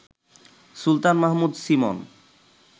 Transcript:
Sultan Mahmud Simon